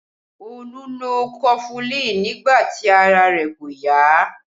Olu lo kofulin nígbà tí ara rẹ̀ kò yá